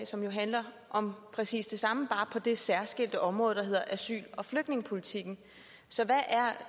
som jo handler om præcis det samme men bare på det særskilte område der hedder asyl og flygtningepolitikken så hvad er